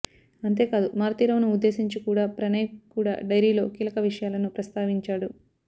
అంతేకాదు మారుతీరావును ఉద్దేశించి కూడ ప్రణయ్ కూడ డైరీలో కీలక విషయాలను ప్రస్తావించాడు